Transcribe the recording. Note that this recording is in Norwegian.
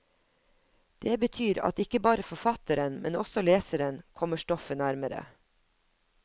Det betyr at ikke bare forfatteren, men også leseren, kommer stoffet nærmere.